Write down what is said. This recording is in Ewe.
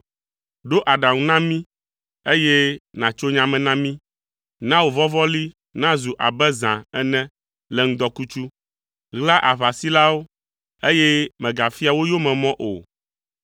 “Ɖo aɖaŋu na mí, eye nàtso nya me na mí. Na wò vɔvɔli nazu abe zã ene le ŋudɔkutsu. Ɣla aʋasilawo, eye mègafia wo yomemɔ o.